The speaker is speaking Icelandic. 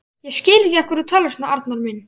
Ég skil ekki af hverju þú talar svona, Arnar minn.